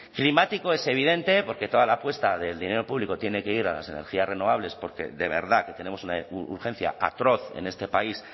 climático es evidente porque toda la apuesta del dinero público tiene que ir a las energías renovables porque de verdad tenemos una urgencia atroz en este país